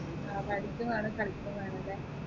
ആ പഠിക്കും വേണം കളിക്കും വേണം അല്ലെ